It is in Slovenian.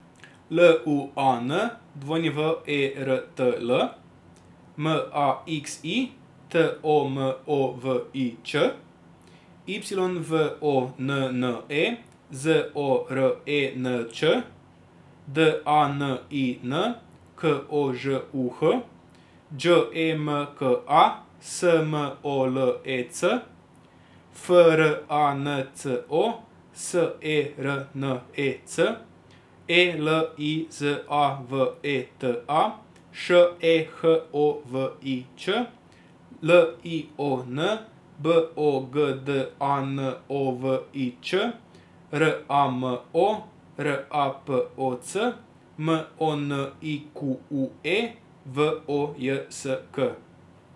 L U A N, W E R T L; M A X I, T O M O V I Č; Y V O N N E, Z O R E N Č; D A N I N, K O Ž U H; Đ E M K A, S M O L E C; F R A N C O, S E R N E C; E L I Z A V E T A, Š E H O V I Ć; L I O N, B O G D A N O V I Č; R A M O, R A P O C; M O N I Q U E, V O J S K.